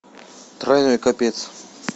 тройной капец